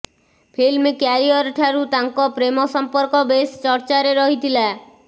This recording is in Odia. ଫିଲ୍ମ କ୍ୟାରିଅର୍ଠାରୁ ତାଙ୍କ ପ୍ରେମ ସମ୍ପର୍କ ବେଶ୍ ଚର୍ଚ୍ଚାରେ ରହିଥିଲା